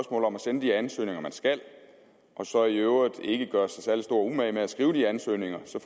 om at sende de ansøgninger man skal og så i øvrigt ikke gøre sig særlig stor umage med at skrive de ansøgninger så